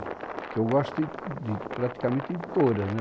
Porque eu gosto de praticamente de todas, né?